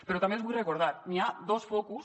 però també els ho vull recordar hi ha dos focus